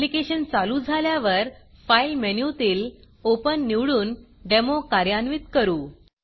application चालू झाल्यावर file मेनूतील Openओपन निवडून डेमो कार्यान्वित करू